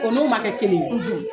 o n'o ma kɛ kelen ye